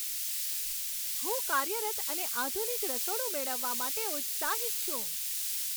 હું કાર્યરત અને આધુનિક રસોડું મેળવવા માટે ઉત્સાહિત છું.